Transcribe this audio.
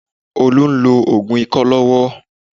Olú ń lo òògùn ikọ́ lọ́wọ́.